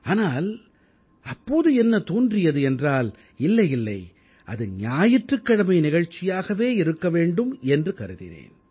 ஆனால் அப்போது என்ன தோன்றியது என்றால் இல்லை இல்லை அது ஞாயிற்றுக் கிழமை நிகழ்ச்சியாகவே இருக்க வேண்டும் என்று கருதினேன்